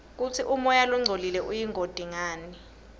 kutsi umoya longcolile uyingoti ngani